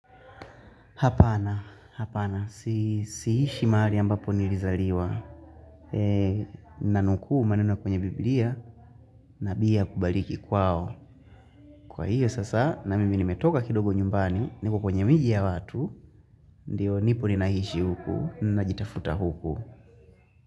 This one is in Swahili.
Hapana, hapana, siishi mahali ambapo nilizaliwa, nanukuu maneno kwenye Biblia, nabii hakubaliki kwao, kwa hiyo sasa na mimi nimetoka kidogo nyumbani, niko kwenye miji ya watu, ndio nipo ninaishi huku, najitafuta huku.